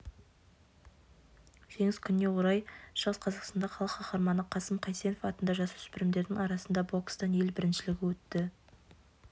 жеңіс күніне орай шығыс қазақстанда халық қаһарманы қасым қайсенов атында жасөспірімдердің арасында бокстан ел біріншілігі өтті